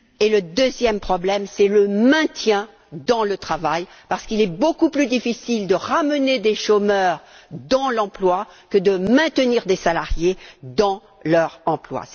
Le deuxième est le maintien dans l'emploi, parce qu'il est beaucoup plus difficile de ramener des chômeurs dans l'emploi que de maintenir des salariés dans leur emploi.